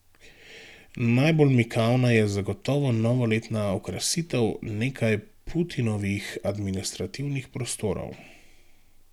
Najbolj mikavna je zagotovo novoletna okrasitev nekaj Putinovih administrativnih prostorov.